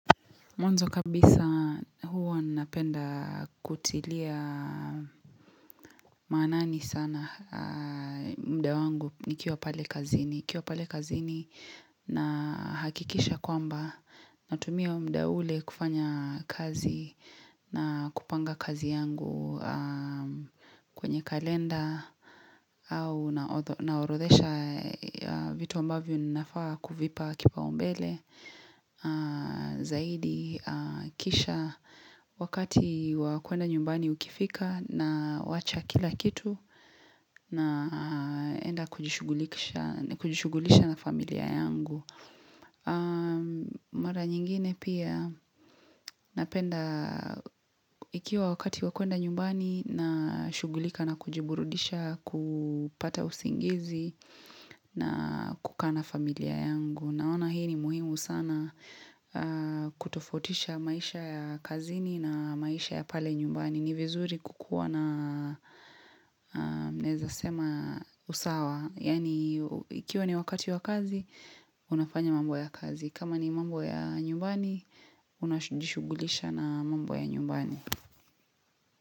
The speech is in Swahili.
Mwanzo kabisa huo napenda kutilia manani sana muda wangu nikiwa pale kazini na hakikisha kwamba natumia muda ule kufanya kazi na kupanga kazi yangu kwenye kalenda au naorodhesha vitu ambavyo ninafaa kuvipa kipao mbele zaidi kisha wakati wakwenda nyumbani ukifika na wacha kila kitu na enda kujishugulisha na familia yangu mara nyingine pia napenda ikiwa wakati wakwenda nyumbani na shugulika na kujiburudisha kupata usingizi na kukaa familia yangu. Naona hii ni muhimu sana kutofotisha maisha ya kazini na maisha ya pale nyumbani ni vizuri kukuwa na neza sema usawa, Yani ikiwa ni wakati wa kazi, unafanya mambo ya kazi kama ni mambo ya nyumbani, una jishugulisha na mambo ya nyumbani.